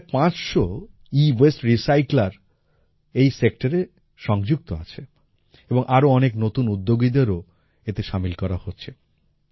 আজ প্রায় ৫০০ এওয়াসতে রিসাইকেলের এই সেক্টরে সংযুক্ত আছে এবং আরো অনেক নতুন উদ্যোগীদেরও এতে শামিল করা হচ্ছে